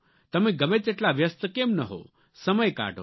તમે ગમે તેટલા વ્યસ્ત કેમ ન હો સમય કાઢો